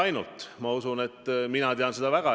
Minu arvates parima küsimuse esitas esmaspäeval Mihhail Lotman.